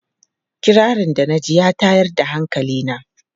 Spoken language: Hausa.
Kirarin da na ji ya tayar da hankali na.